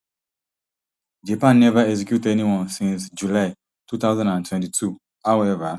japan neva execute anyone since july two thousand and twenty-two howeva